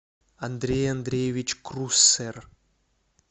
андрей андреевич круссер